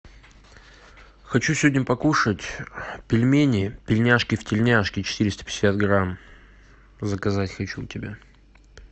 хочу сегодня покушать пельмени пельняшки в тельняшке четыреста пятьдесят грамм заказать хочу у тебя